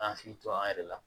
K'an hakili to an yɛrɛ la